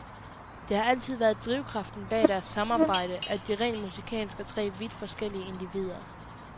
Det har altid været drivkraften bag deres samarbejde, at de rent musikalsk er tre vidt forskellige individer.